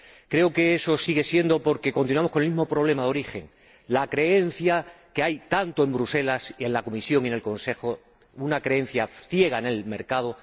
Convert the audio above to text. Creo que eso sigue siendo así porque continuamos con el mismo problema de origen la creencia que hay en Bruselas, tanto en la Comisión como en el Consejo, una creencia ciega en el mercado.